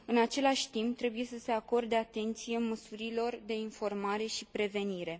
În același timp trebuie să se acorde atenție măsurilor de informare și prevenire.